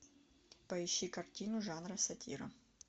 поищи картину жанра сатира